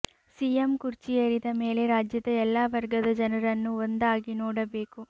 CM ಕುರ್ಚಿ ಏರಿದ ಮೇಲೆ ರಾಜ್ಯದ ಎಲ್ಲಾ ವರ್ಗದ ಜನರನ್ನೂ ಒಂದಾಗಿ ನೋಡಬೇಕು